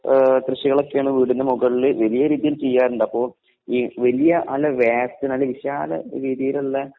ഏഹ് കൃഷികളൊക്കെയാണ് വീടിനുമുകളില് വലിയ രീതിയിൽ ചെയ്യാറുണ്ട് അപ്പോ ഈ വലിയ അല്ല വിശാല രീതിയിലുള്ള